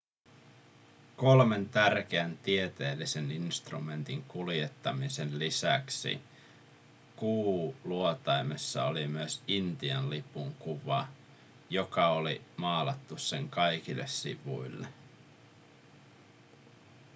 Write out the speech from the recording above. kolmen tärkeän tieteellisen instrumentin kuljettamisen lisäksi kuuluotaimessa oli myös intian lipun kuva joka oli maalattu sen kaikille sivuille